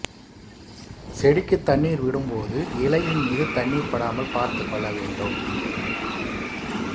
செடிக்கு தண்ணீர் விடும் போது இலையின் மீது தண்ணீர் படாமல் பார்த்துக் கொள்ள வேண்டும்